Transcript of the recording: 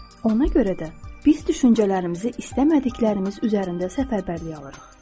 Ona görə də biz düşüncələrimizi istəmədiklərimiz üzərində səfərbərliyə alırıq.